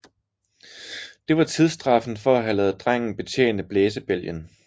Det var tidsstraffen for at have ladet drengen betjene blæsebælgen